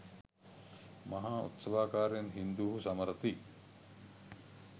මහා උත්සවාකාරයෙන් හින්දුහු සමරති